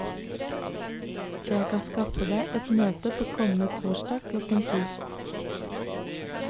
Jeg kan skaffe deg et møte på kommende torsdag klokka to.